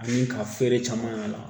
Ani ka feeren caman y'a la